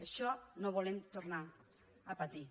això no ho volem tornar a patir